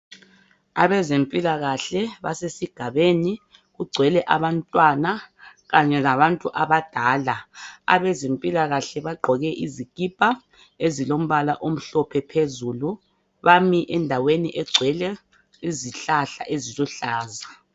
Abezempilakahle basesigabeni, kugcwele abantwana kanye labantu abadala. Abezempilakahle bagqoke izikipa ezilombala omhlophe phezulu bami endaweni egcwele izihlahla eziluhlaza.